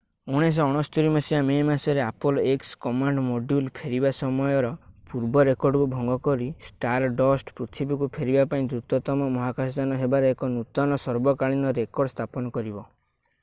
1969 ମସିହା ମେ ମାସରେ Apollo x command module ଫେରିବା ସମୟର ପୂର୍ବ ରେକର୍ଡକୁ ଭଙ୍ଗ କରି ଷ୍ଟାରଡଷ୍ଟ ପୃଥିବୀକୁ ଫେରିବା ପାଇଁ ଦ୍ରୁତତମ ମହାକାଶଯାନ ହେବାର ଏକ ନୂତନ ସର୍ବକାଳୀନ ରେକର୍ଡ ସ୍ଥାପନ କରିବ